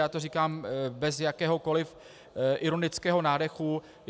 Já to říkám bez jakéhokoliv ironického nádechu.